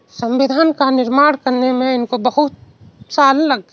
संविधान का निर्माण करने में इनको बहुत साल लग --